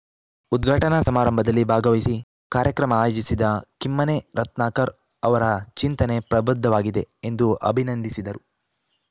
ಉದ್ಘಾಟನಾ ಸಮಾರಂಭದಲ್ಲಿ ಭಾಗವಹಿಸಿ ಕಾರ್ಯಕ್ರಮ ಆಯೋಜಿಸಿದ ಕಿಮ್ಮನೆ ರತ್ನಾಕರ್‌ ಅವರ ಚಿಂತನೆ ಪ್ರಬುದ್ಧವಾಗಿದೆ ಎಂದು ಅಭಿನಂದಿಸಿದರು